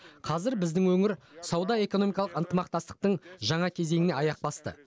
қазір біздің өңір сауда экономикалық ынтымақтастықтың жаңа кезеңіне аяқ басты